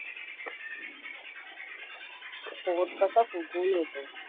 पोट कसं फुगून येतो.